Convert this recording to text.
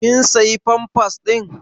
Ƙin siya pampas ɗin?